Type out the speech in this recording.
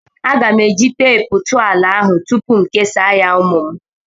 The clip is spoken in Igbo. Aga m eji teepu tụọ ala ahụ tupu m kesaa ya ụmụ m.